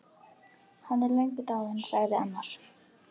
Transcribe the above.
Hann er löngu dáinn, sagði annar.